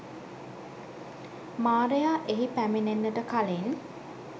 මාරයා එහි පැමිණෙන්නට කලින්